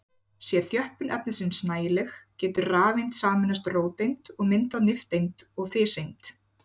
Sé þjöppun efnisins nægileg getur rafeind sameinast róteind og myndað nifteind og fiseind.